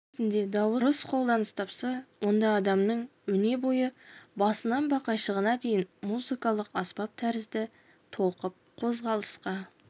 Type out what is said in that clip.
сөйлеу кезінде дауыс дұрыс қолданыс тапса онда адамның өне бойы басынан бақайшығына дейін музыкалық аспап тәрізді толқып қозғалысқа